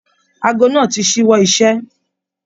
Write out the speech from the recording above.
Aago náà tí ṣiwọ iṣẹ.